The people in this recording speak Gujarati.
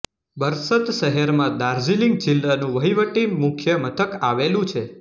બરસત શહેરમાં દાર્જિલિંગ જિલ્લાનું વહીવટી મુખ્ય મથક આવેલું છે